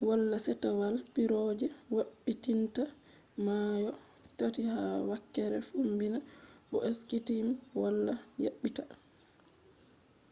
wala settewal piiroje yabbititta mayo tati ha wakkere fombina bo skyteam wala yabbita